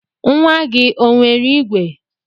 Nwa gị o nwere igwe?